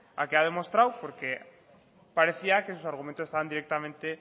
ha quedado demostrado porque parecía que sus argumentos estaban directamente